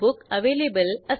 मधुसेईन हे युजरनेम द्या